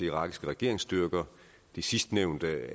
irakiske regeringsstyrker sidstnævnte